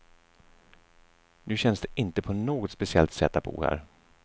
Nu känns det inte på något speciellt sätt att bo här.